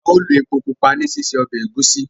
ao lo èpò pupa ní sise Ọbẹ̀ Egusi